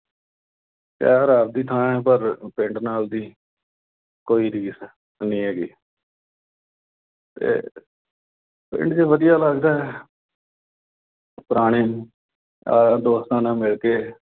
ਸ਼ਹਿਰ ਆਪਣੀ ਥਾਂ, ਪਰ ਪਿੰਡ ਨਾਲ ਦੀ ਕੋਈ ਰੀਸ ਨਹੀਂ ਹੈਗੀ। ਤੇ ਪਿੰਡ ਚ ਵਧੀਆ ਲਗਦਾ ਪੁਰਾਣੇ ਯਾਰਾ-ਦੋਸਤਾਂ ਨਾਲ ਮਿਲ ਕੇ।